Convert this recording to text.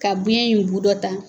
Ka biyɛn in b'u dɔ ta